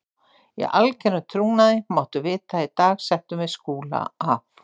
Í algerum trúnaði máttu vita að í dag settum við Skúla af.